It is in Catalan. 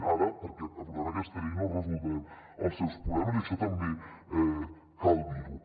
ara perquè aprovem aquesta llei no resoldrem els seus problemes i això també cal dir ho